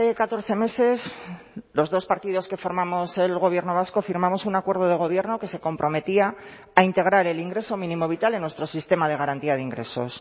catorce meses los dos partidos que formamos el gobierno vasco firmamos un acuerdo de gobierno que se comprometía a integrar el ingreso mínimo vital en nuestro sistema de garantía de ingresos